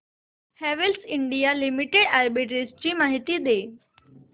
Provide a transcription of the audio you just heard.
Havells India limited arbitrage माहिती दे